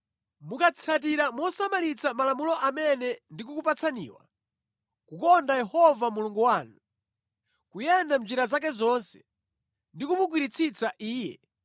Mukatsatira mosamalitsa malamulo amene ndikukupatsaniwa, kukonda Yehova Mulungu wanu, kuyenda mʼnjira zake zonse ndi kumugwiritsitsa Iye